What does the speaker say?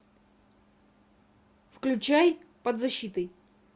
включай под защитой